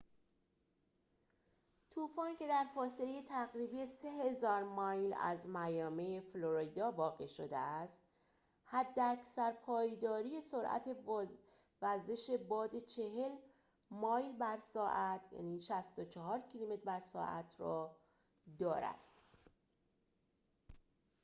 طوفان، که در فاصله تقریبی 3000 مایل از میامی، فلوریدا واقع شده است، حداکثر پایداری سرعت وزش باد 40 مایل بر ساعت 64 کیلومتر بر ساعت را دارد